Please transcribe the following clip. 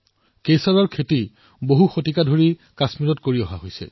কেশৰ শতিকাজুৰি কাশ্মীৰৰ সৈতে জড়িত হৈ আছে